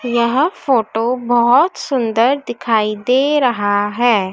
यह फोटो बहोत सुंदर दिखाई दे रहा है।